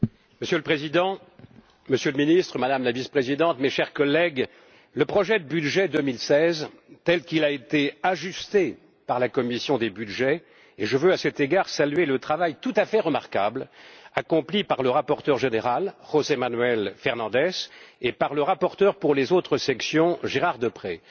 Monsieur le Président, Monsieur le Ministre, Madame la Vice Présidente, mes chers collègues, le projet de budget 2016 tel qu'il a été ajusté par la commission des budgets et je veux, à cet égard, saluer le travail tout à fait remarquable accompli par le rapporteur général, José Manuel Fernandes, et par le rapporteur pour les autres sections, Gérard Deprez